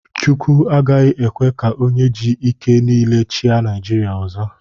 Chukwu agaghị ekwe ka onye ji ike niile chịa Naijiria ọzọ.